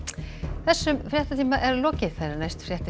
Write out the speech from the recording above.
þessum fréttatíma er lokið næstu fréttir